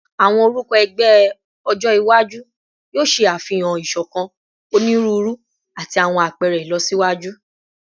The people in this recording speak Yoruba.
Awọn orukọ ẹgbẹ ọjọ iwaju yoo ṣe afihan isokan, oniruuru, ati awọn apẹrẹ ilọsiwaju